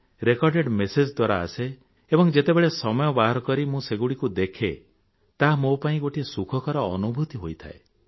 record message ଦ୍ୱାରା ଆସେ ଏବଂ ଯେତେବେଳେ ସମୟ ବାହାର କରି ମୁଁ ସେଗୁଡ଼ିକୁ ଦେଖେ ତାହା ମୋ ପାଇଁ ଗୋଟିଏ ସୁଖକର ଅନୁଭୂତି ହୋଇଥାଏ